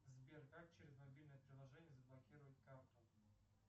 сбер как через мобильное приложение заблокировать карту